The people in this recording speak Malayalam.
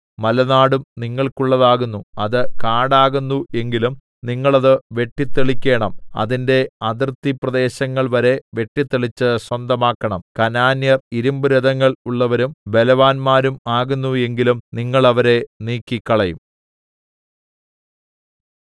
മലനാടും നിങ്ങൾക്കുള്ളതാകുന്നു അത് കാടാകുന്നു എങ്കിലും നിങ്ങൾ അത് വെട്ടിത്തെളിക്കേണം അതിന്റെ അതിർത്തിപ്രദേശങ്ങൾ വരെ വെട്ടിത്തെളിച്ച് സ്വന്തമാക്കണം കനാന്യർ ഇരിമ്പുരഥങ്ങൾ ഉള്ളവരും ബലവാന്മാരും ആകുന്നു എങ്കിലും നിങ്ങൾ അവരെ നീക്കിക്കളയും